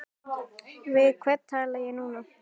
Við hvern tala ég núna?